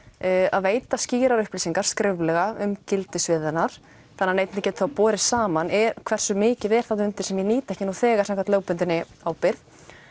að veita skýrar upplýsingar skriflega um gildissvið hennar þannig neytandi geti þá borið saman hversu mikið er þarna undir sem ég nýt ekki nú þegar samkvæmt lögbundinni ábyrgð